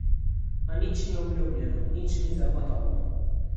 A nič ni obljubljeno, nič ni zagotovo.